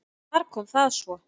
Þar kom það svo!